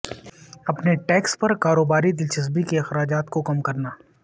اپنے ٹیکس پر کاروباری دلچسپی کے اخراجات کو کم کرنا